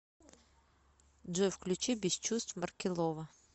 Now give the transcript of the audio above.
джой включи без чувств маркелова